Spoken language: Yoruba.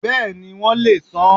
Bẹ́ẹ̀ni, won le è san an